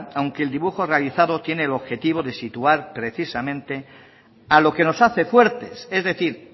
aunque el dibujo realizado tiene el objetivo de situar precisamente a lo que nos hace fuertes es decir